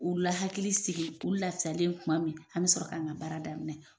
U la hakiliki sigi u lasalen kuma min an be sɔrɔ ka na baara daminɛ